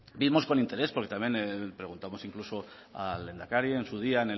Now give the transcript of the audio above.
vimos con interés porque también le preguntamos incluso al lehendakari en su día